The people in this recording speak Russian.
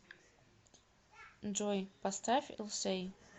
джой поставь илсей